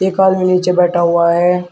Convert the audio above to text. एक आदमी नीचे बैठा हुआ है।